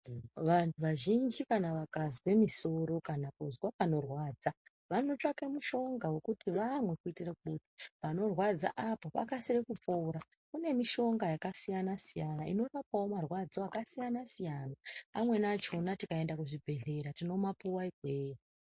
Vantu vazhinji kana vakazwa musoro kana vakazwa panorwadza vanotsvaga mutombo wekuti panorwadza apa vakasire kupora kune mishonga yakasiyana siyana inorapawo marwadzo akasiyana siyana amweni achona tikaenda kuzvibhedhlera tinovapuwa ikweyo.